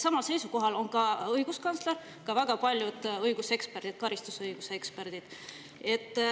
Samal seisukohal on õiguskantsler ja väga paljud õiguseksperdid, karistusõiguse eksperdid.